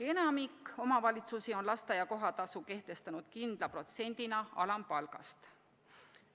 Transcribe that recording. Enamik omavalitsusi on lasteaia kohatasu kehtestanud kindla protsendina alampalgast.